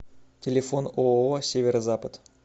телефон ооо северо запад